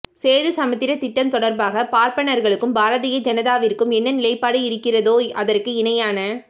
சேது சமுத்திர திட்டம் தொடர்பாக பார்ப்பணர்களுக்கும் பாரதீய ஜனதாவிற்கும் என்ன நிலைபாடு இருக்கிறதோ அதற்கு இணையான